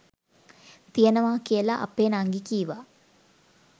තියෙනවා කියලා අපෙ නංගි කිව්වා.